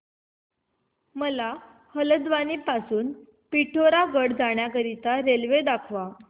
मला हलद्वानी पासून ते पिठोरागढ पर्यंत जाण्या करीता रेल्वे दाखवा